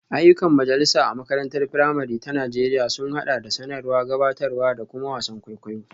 Ayyukan majalisa a makarantar firamare ta Najeriya sun haɗa da sanarwa, gabatarwa, da kuma wasan kwaikwayo.